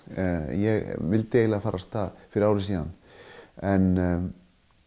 ég vildi fara af stað fyrir ári síðan en